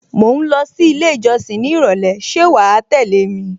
Mò ń lọ sí ilé ìjọsìn ní ìrọ̀lẹ́ ṣé wàá tẹ́lẹ̀ mi?